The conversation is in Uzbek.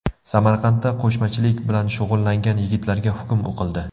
Samarqandda qo‘shmachilik bilan shug‘ullangan yigitlarga hukm o‘qildi.